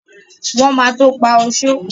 Wọ́n ma tó pá oṣó